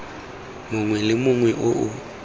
mongwe le mongwe o o